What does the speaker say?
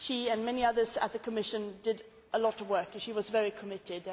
She and many others at the Commission did a lot of work and she was very committed.